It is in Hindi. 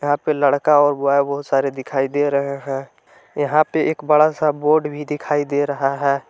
यहां पे लड़का और ब्वाय बहोत सारे दिखाई दे रहे हैं यहां पे एक बड़ा सा बोर्ड भी दिखाई दे रहा है।